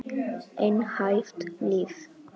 Einhæft líf.